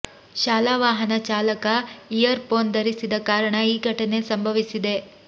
ಶಾಲಾ ವಾಹನ ಚಾಲಕ ಇಯರ್ ಫೋನ್ ಧರಿಸಿದ ಕಾರಣ ಈ ಘಟನೆ ಸಂಭವಿಸಿದೆ